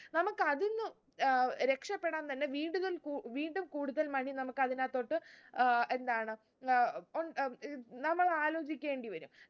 നമുക്കതിന്നു ഏർ രക്ഷപ്പെടാൻ തന്നെ വീണ്ടുകൽ കൂ വീണ്ടും കൂടുതൽ money നമുക്കതിനാത്തോട്ട് ഏർ എന്താണ് നമ്മൾ ആലോചിക്കേണ്ടി വരും